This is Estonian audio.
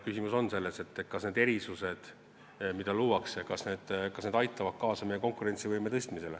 Küsimus on selles, kas need erandid, mis luuakse, aitavad kaasa meie konkurentsivõime tõstmisele.